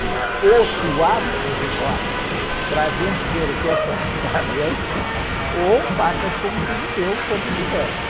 Disse, ou tu abres agora para a gente ver o que é que lá está dentro, ou passas para um filho teu quando tiveres.